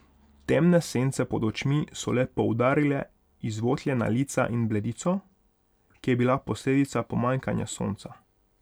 Temne sence pod očmi so le poudarile izvotljena lica in bledico, ki je bila posledica pomanjkanja sonca.